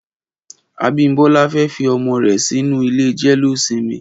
Abimbola fè fi ọmọ rè sinú ilé jẹléósìmì